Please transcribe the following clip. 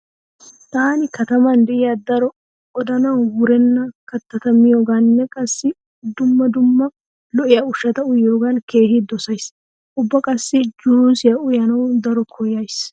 Taani kataman diya daro odanawu wurenna kattata miyogaanne qassi dumma dumma lo'iya ushshata uyiyogaa keehi dosays. Ubba qassi juusiya uyanawu daro koyyays.